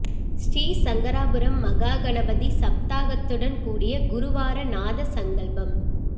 ஶ்ரீ சங்கராபுரம் மஹா கணபதி சப்தாகத்துடன் கூடிய குருவார நாத சங்கல்பம்